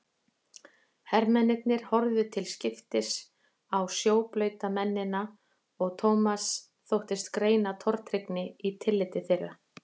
Hermennirnir horfðu til skiptis á sjóblauta mennina og Thomas þóttist greina tortryggni í tilliti þeirra.